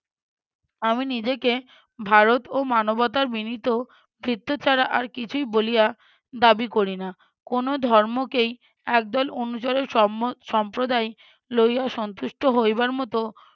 আমি নিজেকে ভারত ও মানবতার বিনীত ভৃত্য ছাড়া আর কিছুই বলিয়া দাবি করি না। কোনো ধর্মকেই একদল অনুচরের সম্মো~ সম্প্রদায় লইয়া সন্তুষ্ট হইবার মতো